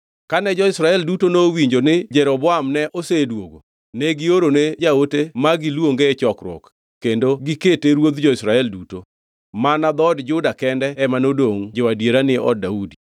Kane jo-Israel duto nowinjo ni Jeroboam ne osedwogo, ne giorone jaote ma giluonge e chokruok, kendo gikete ruodh jo-Israel duto. Mana dhood Juda kende ema nodongʼ jo-adiera ni od Daudi.